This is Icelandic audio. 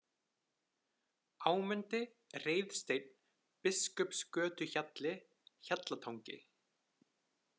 Ámundi, Reiðsteinn, Biskupsgötuhjalli, Hjallatangi